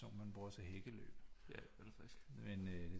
Sådan nogle man bruger til hækkeløb men øh